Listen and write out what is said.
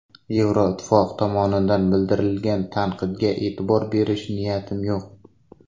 Yevroittifoq tomonidan bildirilgan tanqidga e’tibor berish niyatim yo‘q.